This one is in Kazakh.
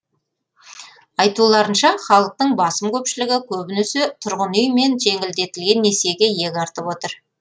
айтуларынша халықтың басым көпшілігі көбінесе тұрғын үй мен жеңілдетілген несиеге иек артып отыр